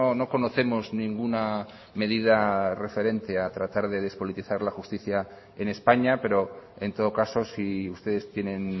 no conocemos ninguna medida referente a tratar de despolitizar la justicia en españa pero en todo caso si ustedes tienen